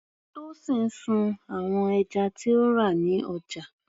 Tosin sun àwọn ẹja tí ó rà ní ọjà.